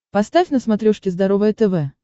поставь на смотрешке здоровое тв